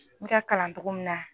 N ka kalan cogo min na.